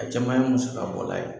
A caman ye musakabɔla ye.